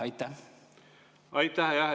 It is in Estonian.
Aitäh!